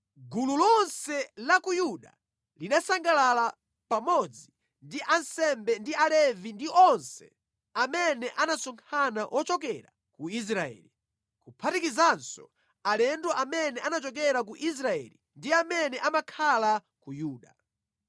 Gulu lonse la ku Yuda linasangalala, pamodzi ndi ansembe ndi Alevi ndi onse amene anasonkhana ochokera ku Israeli, kuphatikizanso alendo amene anachokera ku Israeli ndi amene amakhala ku Yuda.